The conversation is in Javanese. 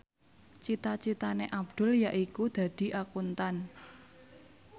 cita citane Abdul yaiku dadi Akuntan